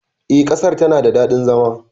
E, ƙasar tana da daɗin zama.